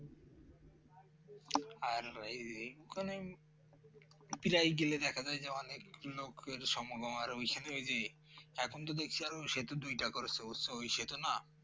আর ওই ওখানে প্রায় গেলে দেখা যায় যে অনেক লোকের সমগম আর ওখানে যে এখন তো দেখছি আরো সেতু দুইটা করছো তো ওই সেতু না